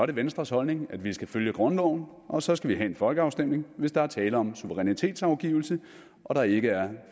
det venstres holdning at vi skal følge grundloven og så skal vi have en folkeafstemning hvis der er tale om suverænitetsafgivelse og der ikke er